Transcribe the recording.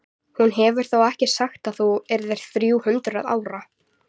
Hún hefur þó ekki sagt að þú yrðir þrjú hundruð ára?